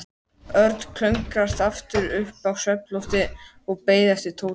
Örn klöngraðist aftur upp á svefnloftið og beið eftir Tóta.